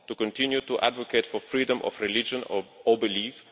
to continue to advocate for freedom of religion or belief